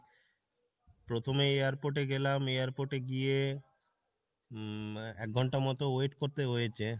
প্রথমে airport এ গেলাম, airport এ গিয়ে উম এক ঘন্টা মত wait করতে হয়েছে ,